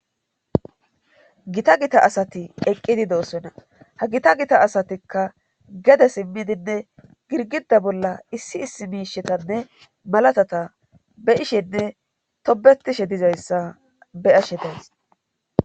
Gita gita asati eqqidi do7osona ha gita gita asatikka gede simmidinne girgida bolla issi issi miishetanne malatata be ishenne tobetishe dizayssa beyashe days.